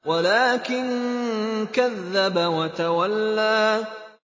وَلَٰكِن كَذَّبَ وَتَوَلَّىٰ